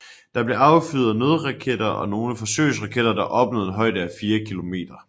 Der blev affyret nogle nødraketter og nogle forsøgsraketter der opnåede en højde af 4 kilometer